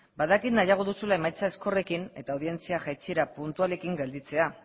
badakit nahiago duzula emaitza ezkorrekin eta audientzia jaitsiera puntualekin gelditzea